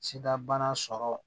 Sidabana sɔrɔ